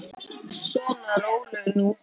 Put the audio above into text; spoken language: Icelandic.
Svona, rólegur nú.